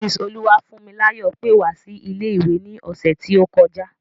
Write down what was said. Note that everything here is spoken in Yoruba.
Mrs Oluwafunmilayo pẹ́ wá sí ilé ìwé ni ọ̀sẹ̀ ti o kọjá.